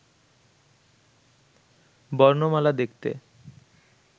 বর্ণমালা দেখতে